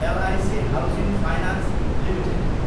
LIC housing finance Ltd